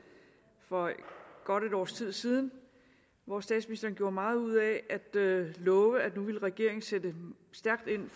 for godt et års tid siden hvor statsministeren gjorde meget ud af at love at nu ville regeringen sætte stærkt ind